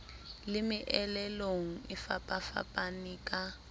le meelelong e fapafapaneng ka